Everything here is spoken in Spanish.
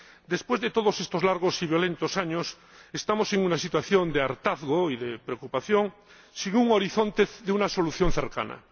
Después de todos estos largos y violentos años estamos ante una situación de hartazgo y de preocupación, sin un horizonte de una solución cercana.